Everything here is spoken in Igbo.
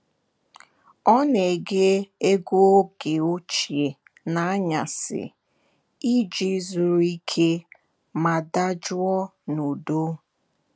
Ọ na-ege egwu oge ochie n'anyasị iji zuru ike ma dajụọ n'udo.